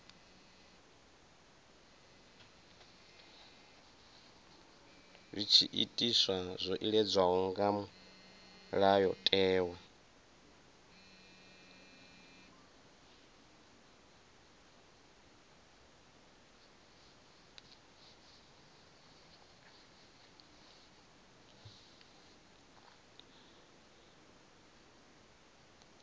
zwiitisi zwo iledzwaho nga mulayotewa